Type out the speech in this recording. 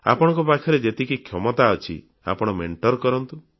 ଆପଣଙ୍କ ପାଖରେ ଯେତିକି କ୍ଷମତା ଅଛି ଆପଣ ଆକ୍ସେପ୍ଟ କରନ୍ତୁ